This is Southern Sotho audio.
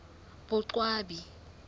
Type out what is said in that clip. boqwabi